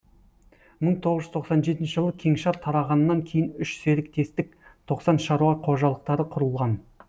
мың тоғыз жүз тоқсан жетінші жылы кеңшар тарағаннан кейін үш серіктестік тоқсан шаруа қожалықтары құрылған